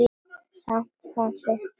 Samt fannst þeim gaman.